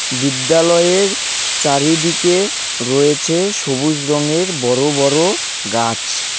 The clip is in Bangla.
বিদ্যালয়ের চারিদিকে রয়েছে সবুজ রঙের বড় বড় গাছ.